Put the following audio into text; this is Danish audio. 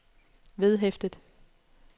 vedhæftet